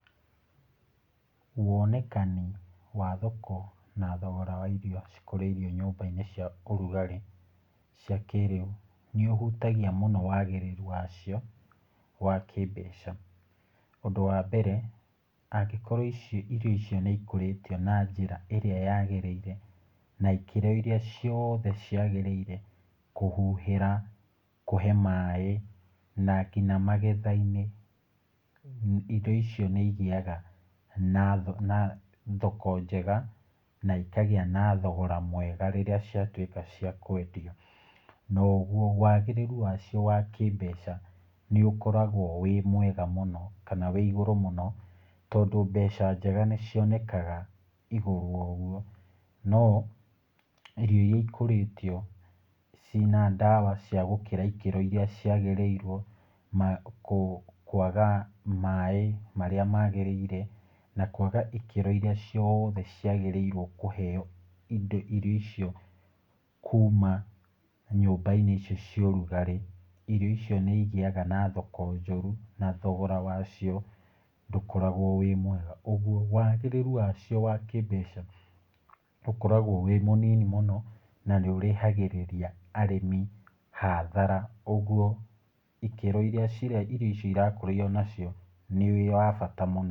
Wonekani wa thoko na thogora wa irio cikũrĩirio nyũmba-inĩ cia ũrugarĩ cia kĩrĩu ni ũhutagia wagĩrĩru wacio wa kĩmbeca, ũndũ wa mbere , angĩkorwo irio icio nĩ ikũrĩtio na njĩra ĩrĩa yagĩrĩire, na ikĩro ĩrĩa ciothe ciagĩrĩire, kũhuhĩra, kũhe maaĩ na nginya magetha-inĩ, indo icio nĩ igĩaga na thoko njega, na ikagĩa na thogora mwega rĩrĩa ciatwĩka cia kwendio , nogwo wagĩrĩru wacio wa kĩmbeca nĩ ũkoragwo wĩ mwega mũno kana wiĩigũrũ mũno , tondũ mbeca njega nĩ cionekaga igũrũ wa ũgwo, no irio iria ikũrĩtio ciĩna ndawa cia gũkĩra ikĩro iria ciagĩrĩirwo , kwaga maaĩ marĩa magĩrĩire , na kwaga ikĩro iria ciothe ciagĩrĩirwo kũheo indo irio icio kuma nyũmba-inĩ icio cia ũrugarĩ , irio icio nĩ igĩaga na thoko njũru na thogora wacio ndũkoragwo wĩ mwega, ũgwo wagĩrĩru wacio wa kĩmbeca ũkoragwo wĩ mũnini mũno na nĩ ũraihagĩrĩria arĩmi hathara, ũgwo ikĩro iria irio icio cirakũrio nacio nĩ wa bata mũno.